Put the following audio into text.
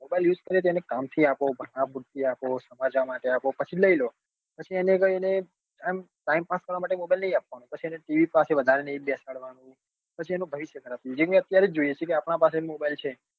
mobile use કરે તો એને કામ થી આપો ભણવા પુરતો આપો સમાચાર માટે આપો પછી લઇ લો. પછી એને કઈ આમ એને time pass કરવા માટે mobile નઈ આપવા નો પછી એને tv પાસે વધારે ની બેસાડવા નો. પછી એનું ભવિષ્ય ખરાબ થાય. જેમ કે અત્યરે જ જોઈએ છીએ કે આપડા પાસે mobile છે.